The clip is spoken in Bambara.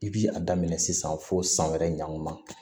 I bi a daminɛ sisan fo san wɛrɛ ɲaman